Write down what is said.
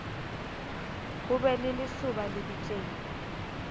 ho be le lesoba lebitleng